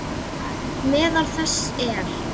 Meðal þess er